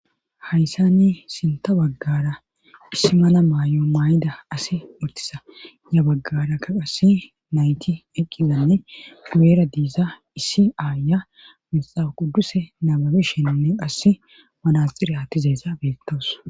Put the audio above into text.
Hayssanni sinta baggara issi mana maay7o maay7ida asi uttisa ya baggara ka qasi nayti eqqizanne weera diiza issi aaya mixa qudduse nababishennne qasse manasxire atizeessa beettoos.